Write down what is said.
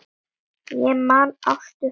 Ég man Ástu frænku.